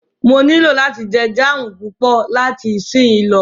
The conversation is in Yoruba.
Mó nilò láti jẹ jáámù púpọ̀ láti isínyì lọ.